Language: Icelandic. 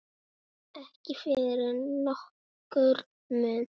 Ekki fyrir nokkurn mun.